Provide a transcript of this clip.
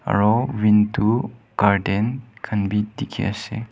aru window curtain khan bi dikhi ase.